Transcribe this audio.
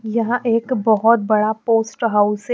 यहाँ एक बहुत बड़ा पोस्ट हाउस है।